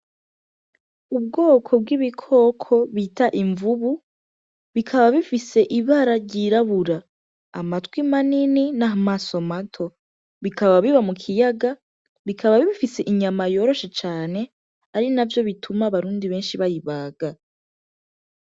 Ubwoko bw'ibikoko bita imvubu, bikaba bifise ibara ryirabura, amatwi manini n'amaso mato, bikaba biba mu kiyaga, bikaba bifise inyama yoroshe cane, ari navyo bituma abarundi benshi bayibaga.